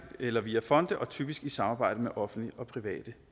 eller via fonde og typisk i samarbejde med offentlige og private